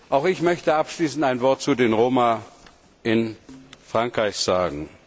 Auch ich möchte abschließend ein Wort zu den Roma in Frankreich sagen.